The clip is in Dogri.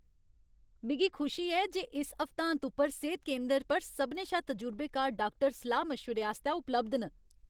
मिगी खुशी ऐ जे इस हफ्तांत उप्पर सेह्त केंदर पर सभनें शा तजुर्बेकार डाक्टर सलाह् मशवरे आस्तै उपलब्ध न।